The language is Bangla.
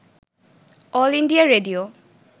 all India radio